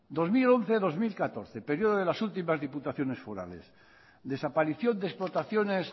dos mil once dos mil catorce periodo de las últimas diputaciones forales desaparición de explotaciones